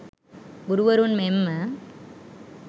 ගුරුවරුන් මෙන්ම